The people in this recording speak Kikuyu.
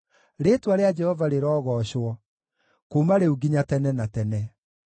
Rĩĩtwa rĩa Jehova rĩrogoocwo, kuuma rĩu nginya tene na tene.